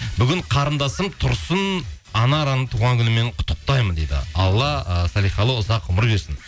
бүгін қарындасым тұрсын анараны туған күнімен құттықтаймын дейді алла ы салиқалы ұзақ ғұмыр берсін